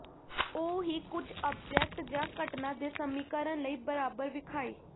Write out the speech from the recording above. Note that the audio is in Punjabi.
ਉਹ ਹੀ ਕੁਝ ਆਬਜੈਕਟ ਜ ਘਟਨਾ ਦੇ ਸਮੀਕਰਨ ਲਈ ਬਰਾਬਰ ਵਿਖਾਈ